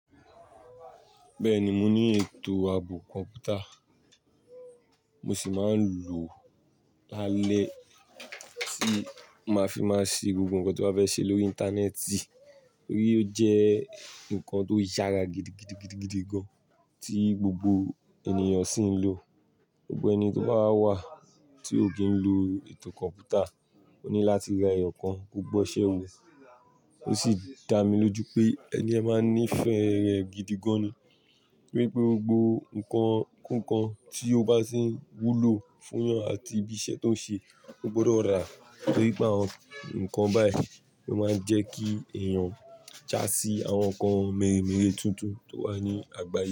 Bẹ́ẹ̀ni, mo ní ètò ààbò kọ̀ǹpútà, mo sì máa ń lò lálẹ́ tí máa fi máa ṣe gbogbo nǹkan tí n bà fẹ́ ṣe lórí Íńtánẹ́ẹ̀tì. Torí ó jẹ́ nǹkan tó yára gidigidi gidigidi gan, tí gbogbo ènìyàn sì ń lò. Gbogbo ẹni tó bá wà tí ó kì í lo ètò kọ̀ǹpútà ó ní láti ra ẹyọ kan gb'ọṣẹ wo Ó sì dá mi lójú pé ẹni yẹn máa ń nífẹ̀ẹ́ rẹ̀ gidigan ni. Torí pé gbogbo nǹkan kúùkan tí ó bá sì ń wúlò fún yan àti ibi iṣẹ́ tó ń ṣe ó gbọdọ̀ rà á. Nítorí pé àwọn nǹkan báyìí lo ma ń jẹ́ kí èèyàn já sí àwọn nǹkan mẹ́rẹ̀mẹ́rẹ̀ tuntun tó wà ní àgbáyé.